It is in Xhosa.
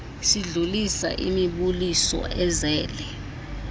sidlulisa imibuliso ezele